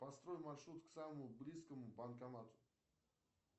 построй маршрут к самому близкому банкомату